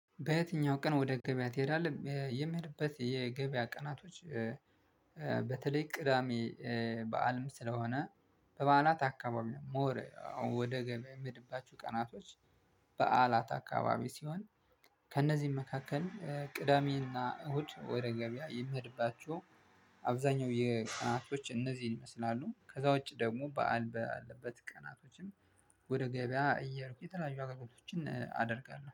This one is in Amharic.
በየትኛው? ቀን ወደ ገበያ ትሄዳለህ የምሄድበት የገበያ ቀናቶች። በተለይ ቅዳሜ በዓልም ስለሆነ በበዓላት አካባቢ ነው። ሞር ወደ ገበያ የምሄድባቸው ቀናቶች። በዓላት አከባቢ ሲሆን ከእነዚህም መካከል ቅዳሜና እሁድ ወደ ገበያ ይምሄድባቸው። አብዛኛው የቀናቶች እነዚህን ይመስላሉ ከዛ ውጪ ደግሞ በዓል ባለበት ቀናቶችን ወደ ገበያ እየሄድኩ የተለያዩ አግልግሎቶችን አደርጋለሁ